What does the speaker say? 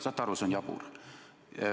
Saate aru, see on jabur.